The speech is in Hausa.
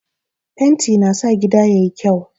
Fenti na sa gida yayi kyau